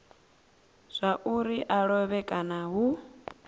zwauri a lovhe kana hu